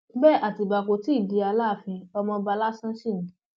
bẹẹ àtibá kò tí ì di aláàfin ọmọọba lásán sí ni